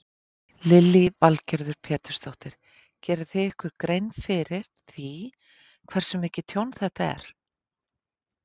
Lillý Valgerður Pétursdóttir: Gerið þið ykkur einhverja grein fyrir því hversu mikið tjón þetta er?